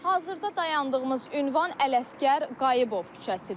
Hazırda dayandığımız ünvan Ələsgər Qayıbov küçəsidir.